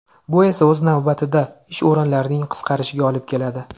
Bu esa o‘z navbatida ish o‘rinlarining qisqarishiga olib keladi.